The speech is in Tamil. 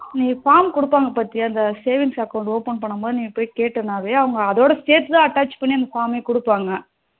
நீ form குடுப்பாங்க பாத்தியா இந்த savings account open பண்ணும் போது நீ போய் கேட்டனாவே அவங்க அதோட சேர்த்து தான் attach பண்ணி அந்த form மவே கொடுப்பாங்க